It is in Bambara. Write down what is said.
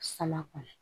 Sala kɔnɔ